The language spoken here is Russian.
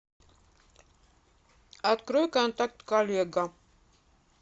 открой контакт коллега